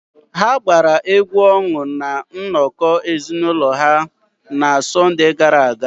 Ha gbara egwu ọṅụ na nnọkọ ezinụlọ ha nwere na Sọnde gara aga.